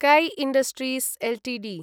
कै industries Ltd